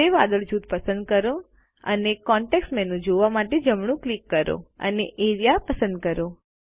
grey વાદળ જૂથ પસંદ કરો અને કોન્ટેક્ષ મેનૂ જોવા માટે જમણું ક્લિક કરો અને એઆરઇએ પસંદ કરો